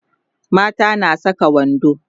mata na San Saka wando